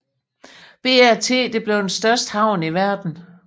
BRT blev til den største havn i verden